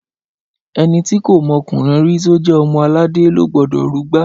Ẹni ti kọ mọkúnrìn ri, tọ jẹ ọmọ àlàdẹ lọ gbọdọ rúgbà!